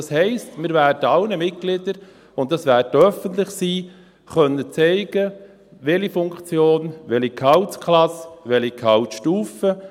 Das heisst, wir werden allen Mitgliedern zeigen können – und das wird öffentlich sein –, welche Funktion, welche Gehaltsklasse, welche Gehaltsstufe.